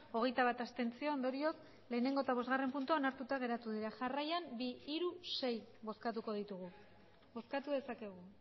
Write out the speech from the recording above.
hogeita bat abstentzio ondorioz bat eta bostgarrena puntuak onartuta geratu dira jarraian bi hiru sei bozkatuko ditugu bozkatu dezakegu